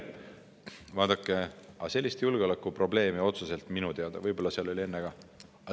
Vaadake, sellist julgeolekuprobleemi otseselt minu teada ei olnud enne ka Moldovas.